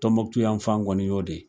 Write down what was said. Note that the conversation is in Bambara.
Tɔnmɔkutu yan fan kɔni y'o de ye.